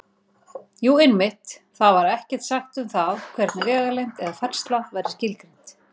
Jú, einmitt: Þar var ekkert sagt um það hvernig vegalengd eða færsla væri skilgreind!